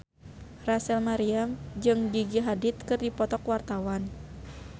Rachel Maryam jeung Gigi Hadid keur dipoto ku wartawan